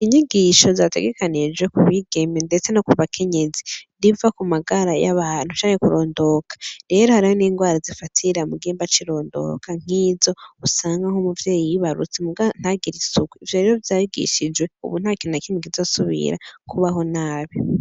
Inyigisho zategekanije ku bigeme, ndetse no ku bakenyezi riva ku magara y'abantu canke kurondoka rero hariho n'ingwara zifatira mu gihimba c'irondoka nk'izo usanga nk'umuvyeyi y'ibarutse muga ntagire isuku ivyo rero vyagishijwe ubu ntakintu na kimwe kizosubira kubaho nabi.